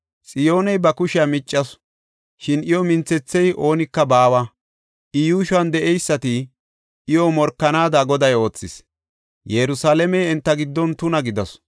Xiyooney ba kushiya miccasu; shin iyo minthethiya oonika baawa. I yuushuwan de7eysati iyo morkanaada Goday oothis. Yerusalaamey enta giddon tuna gidasu.